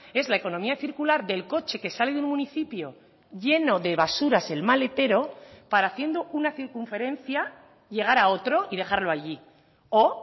es la economía circular del coche que sale del municipio lleno de basuras el maletero para haciendo una circunferencia llegar a otro y dejarlo allí o